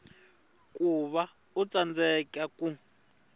ku va u tsandzeka ku